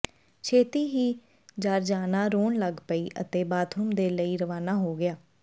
ਛੇਤੀ ਹੀ ਜਾਰਜਾਨਾ ਰੋਣ ਲੱਗ ਪਈ ਅਤੇ ਬਾਥਰੂਮ ਦੇ ਲਈ ਰਵਾਨਾ ਹੋ ਗਿਆ